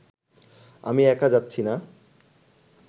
আমি একা যাচ্ছি না